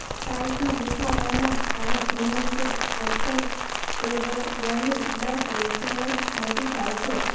પાઈલ્સમાં દુખાવોના કારણ એનલ કે રેક્ટલ એરોયાની બ્લ્ડ વેસલસ મોટી થાય છે